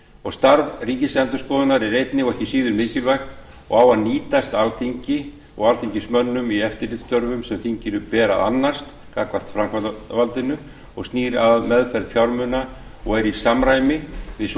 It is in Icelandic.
og starf ríkisendurskoðunar er einnig og ekki síður mikilvægt og á að nýtast alþingi og alþingismönnum í eftirlitsstörfum sem þinginu ber að annast gagnvart framkvæmdarvaldinu og snýr að meðferð fjármuna og er í samræmi við svo